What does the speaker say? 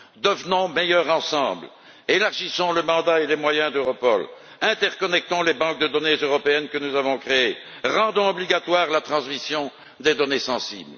Devenons meilleurs ensemble, élargissons le mandat et les moyens d'Europol, interconnectons les banques de données européennes que nous avons créées, rendons obligatoire la transmission des données sensibles.